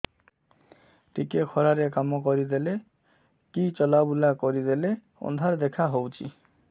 ଟିକେ ଖରା ରେ କାମ କରିଦେଲେ କି ଚଲବୁଲା କରିଦେଲେ ଅନ୍ଧାର ଦେଖା ହଉଚି